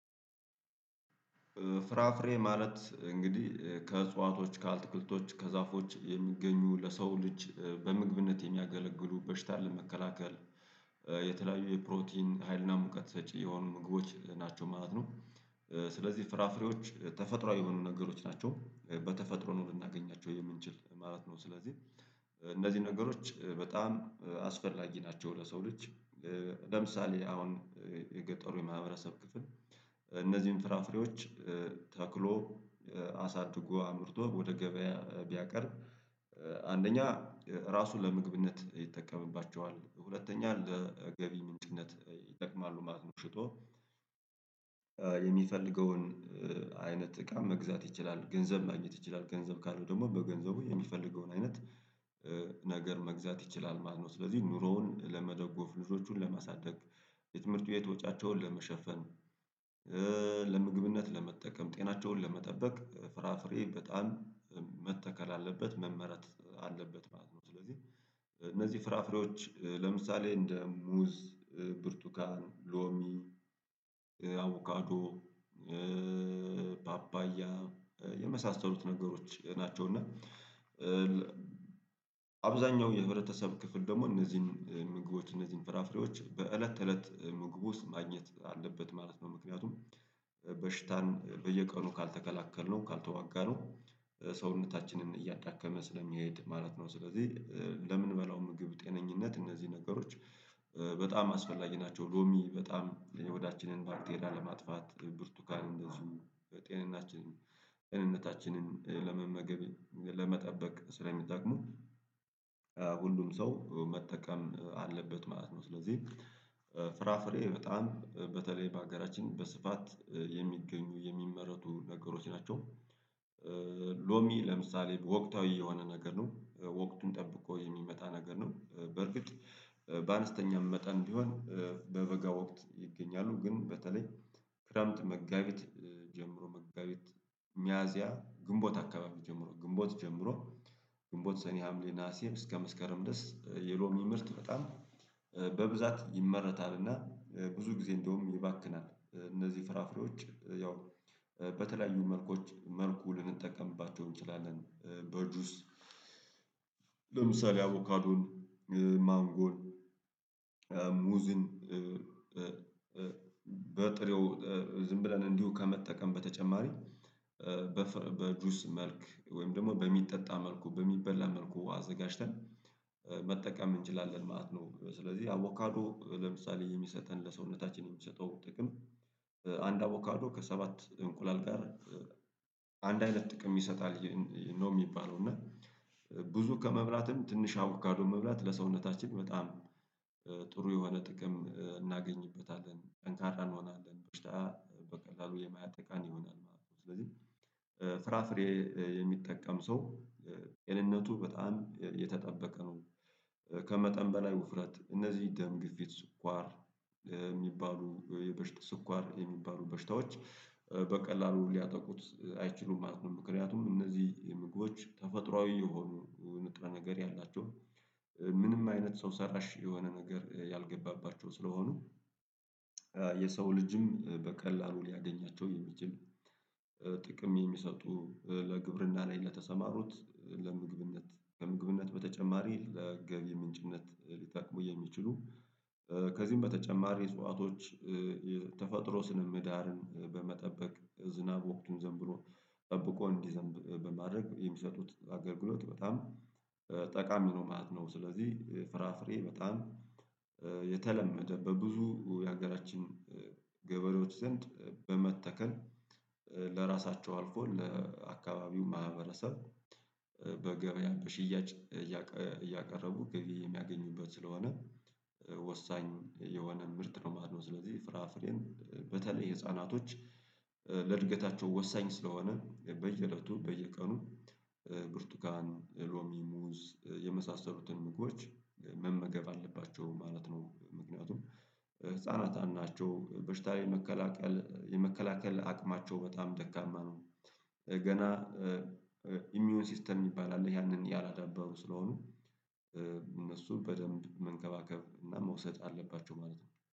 ፍራፍሬ ማለት እንግዲህ ከእጽዋቶች ካአትክልቶች ከዛፎች የሚገኙ ለሰው ልጅ በምግብነት የሚያገለግሉ በሽታን ለመከላከል የተለያዩ የፕሮቲን ሀይልና ሙቀት ሰጪ የሆኑ ምግቦች ናቸው ማለት ነው። ስለዚህ ፍራፍሬዎች ተፈጥሮዊ የሆኑ ነገሮች ናቸው በተፈጥሮ ነው ልናገኛቸው የምንችል ማለት ነው ስለዚህ እንደዚህ ነገሮች በጣም አስፈላጊ ናቸው ለሰው ልጅ። ለምሳሌ አሁን የገጠሩ የማህበረሰብ ክፍል እነዚህን ፍራፍሬዎች ተክሎ አሳድጎ አምርቶ ወደ ገበያ ቢያቀርብ አንደኛ ራሱን ለምግብነት ይጠቀምባቸዋል ሁለተኛ ለገቢ ምንጭነት ይጠቅማሉ ማለት ነው። ሽጦ የሚፈልገውን አይነት እቃ መግዛት ይችላል ገንዘብ ማግኘት ይችላል ገንዘብ ካለው ደግሞ በገንዘቡ የሚፈልገውን አይነት ነገር መግዛት ይችላል ማለት ነው። ስለዚህ ኑሮውን ለመደጎፍ ልጆቹን ለማሳደግ የትምህርት ቤት ወጫቸውን ለመሸፈን ለምግብነት ለመጠቀም ጤናቸውን ለመጠበቅ ፍራፍሬ በጣም መተከል አለበት መመረት አለበት ማለት ነው። ስለዚህ እነዚህ ፍራፍሬዎች ለምሳሌ እንደ ሙዝ ብርቱካን ሎሚ አቡካዶ ፓፓያ የመሳሰሉት ነገሮች ናቸው። እና አብዛኛው የህብረተሰብ ክፍል ደግሞ እነዚህን ምግቦች እነዚህን ፍራፍሬዎች በእለት ተእለት ምግብ ውስጥ ማግኘት አለበት ማለት ነው። ምክንያቱም በሽታን በየቀኑ ካልተከላከልነው ካልተዋጋነው ሰውነታችንን እያዳከመ ስለሚሄድ ማለት ነው ስለዚህ ለምንበላው ምግብ ጤነኝነት እነዚህ ነገሮች በጣም አስፈላጊ ናቸው። ሎሚ በጣም የሆዳችንን ባክቴሪያ ለማጥፋት ብርቱካን እንደዚሁ ጤንነታችንን ጤንነታችንን ለመመገብ ለመጠበቅ ስለሚጠቅሙ ሁሉም ሰው መጠቀም አለበት ማለት ነው። ስለዚህ ፍራፍሬ በጣም በተለይ በሀገራችን በስፋት የሚገኙ የሚመረቱ ነገሮች ናቸው። ሎሚ ለምሳሌ ወቅታዊ የሆነ ነገር ነው ወቅቱን ጠብቆ የሚመጣ ነገር ነው በርግጥ በአነስተኛም መጠን ቢሆን በበጋ ወቅት ይገኛሉ ግን በተለይ ክረምት መጋቢት ጀምሮ መጋቢት ሚያዚያ ግንቦት አካባቢ ጀምሮ ግንቦት ጀምሮ ግንቦት ሰኔ ሀምሌ ናሀሴም እስከ መስከረም ድረስ የሎሚ ምርት በጣም በብዛት ይመረታል። እና ብዙ ጊዜ እንደውም ይባክናል እነዚህ ፍራፍሬዎች ያው በተለያዩ መልኮች መልኩ ልንጠቀምባቸው እንችላለን በጁስ ለምሳሌ አቮካዶን ማንጎን ሙዝን በጥሬው ዝም ብለን እንዲሁ ከመጠቀም በተጨማሪ በጁስ መልክ ወይም ደግሞ በሚጠጣ መልኩ በሚበላ መልኩ አዘጋጅተን መጠቀም እንችላለን ማለት ነው። ስለዚህ አቮካዶ ለምሳሌ የሚሰጠን ለሰውነታችን የሚሰጠው ጥቅም አንድ አቮካዶ ከሰባት እንቁላል ጋር አንድ አይነት ጥቅም ይሰጣል ነው የሚባለው እና ብዙ ከመብላትም ትንሽ አቩካዶ መብላት ለሰውነታችን በጣም ጥሩ የሆነ ጥቅም እናገኝበታለን ጠንካራ እንሆናለን በሽታ በቀላሉ የማያጠቃን ይሆናል ማለት ነው። ስለዚህ ፍራፍሬ የሚጠቀም ሰው ጤንነቱ በጣም የተጠበቀ ነው። ከመጠን በላይ ውፍረት እነዚህ ደም ግፊት ስኳር የሚባሉ በሽታዎ ስኳር የሚባሉ በሽታዎች በቀላሉ ሊያጠቁት አይችሉም ምክንያቱም እነዚህ ምግቦች ተፈጥሮአዊ የሆኑ ንጥረ ነገር ያላቸው ምንም አይነት ሰው ሰራሽ የሆነ ነገር ያልገባባቸው ስለሆኑ የሰው ልጅም በቀላሉ ሊያገኛቸው የሚችል ጥቅም የሚሰጡ ለግብርና ላይ ለተሰማሩት ለምግብነት ከምግብነት በተጨማሪ ለገቢ ምንጭነት ሊጠቅሙ የሚችሉ ከዚህም በተጨማሪ እጽዋቶች የተፈጥሮ ስነ ምህዳርን በመጠበቅ ዝናብ ወቅቱን ዘም ብሎ ጠብቆ እንዲዘንብ በማድረግ የሚሰጡት አገልግሎት በጣም ጠቃሚ ነው ማለት ነው። ስለዚህ ፍራፍሬ በጣም የተለመደ በብዙ የሀገራችን ገበሬዎች ዘንድ በመተከል ለራሳቸው አልፎ ለአካባቢው ማህበረሰብ በገበያ በሽያጭ እያቀረቡ ገቢ የሚያገኙበት ስለሆነ ወሳኝ የሆነ ምርት ነው ማለት ነው። ስለዚህ ፍራፍሬን በተለይ ህፃናቶች ለእድገታቸው ወሳኝ ስለሆነ በየእለቱ በየቀኑ ብርቱካን ሎሚ ሙዝ የመሳሰሉትን ምግቦች መመገብ አለባቸው ማለት ነው። ምክንያቱም ህፃናታን ናቸው በሽታ የ መከላከል የመከላከል አቅማቸው በጣም ደካማ ነው። ገና ኢሚዉን ሲስተም የሚባል አለ ያንን ያላዳበሩ ስለሆኑ እነሱ በደንብ መንከባከብ እና መውሰድ አለባቸው ማለት ነው